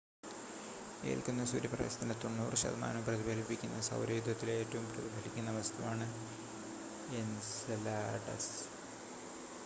ഏൽക്കുന്ന സൂര്യപ്രകാശത്തിൻ്റെ 90 ശതമാനവും പ്രതിഫലിപ്പിക്കുന്ന സൗരയൂഥത്തിലെ ഏറ്റവും പ്രതിഫലിക്കുന്ന വസ്തുവാണ് എൻസെലാഡസ്